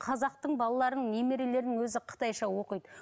қазақтың балаларының немерелерінің өзі қытайша оқиды